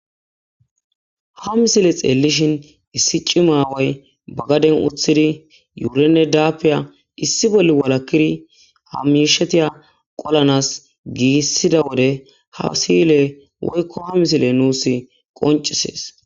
ha misile xeellishin issi ci maaway bagaden uthidi yuurenne daapiya issi bolli walakiri hamishetiya qolanas giissida wode ha siyle woykko ha misile nuus qoncisees